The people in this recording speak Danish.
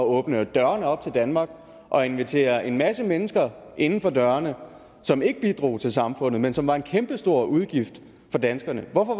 åbne dørene op til danmark og invitere en masse mennesker inden for dørene som ikke bidrog til samfundet men som var en kæmpestor udgift for danskerne hvorfor